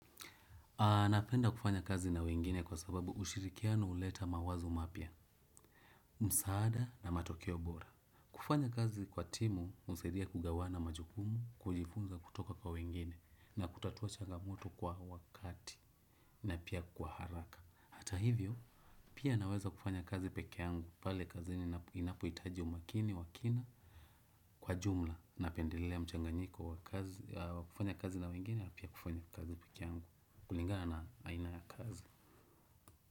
Napenda kufanya kazi na wengine kwa sababu ushirikiano huleta mawazo mapya, msaada na matokeo bora. Kufanya kazi kwa timu husaidia kugawana majukumu, kujifunza kutoka kwa wengine na kutatua changamoto kwa wakati na pia kwa haraka. Hata hivyo, pia naweza kufanya kazi peke yangu pale kazini inapohitaji umakini wa kina kwa jumla. Napendelea mchanganyiko wa kufanya kazi na wengine na pia kufanya kazi peke yangu kulingana na aina ya kazi.